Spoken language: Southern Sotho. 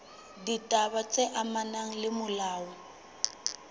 ditaba tse amanang le molao